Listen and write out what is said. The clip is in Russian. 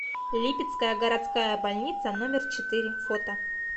липецкая городская больница номер четыре фото